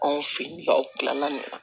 Anw fɛ yen nɔ aw kilala nin na